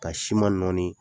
Ka siman nɔɔnin